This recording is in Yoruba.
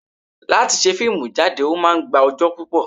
Láti ṣe fíìmù jáde, ó máa ń gba ọjọ́ púpò.